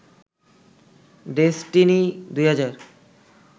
Destiny ২০০০